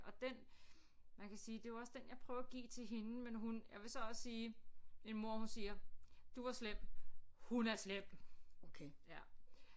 Og den man kan sige det er jo også den jeg prøver at give til hende men hun jeg vil så også sige min mor hun siger du var slem hun er slem ja